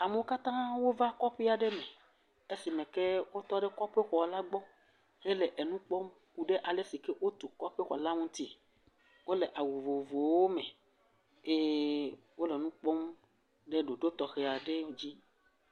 Amewo katã va kɔƒe aɖe me. Esime ke wotɔ ɖe kɔƒe xɔ la gbɔ hele enu kpɔm ku ɖe ale si ke wotu kɔƒe xɔ la ŋutie. Wole awu vovovowo me eye wole nu kpɔm ɖe ɖoɖo tɔxɛ aɖe dzi.